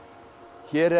hér er